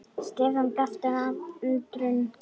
Stefán gapti af undrun.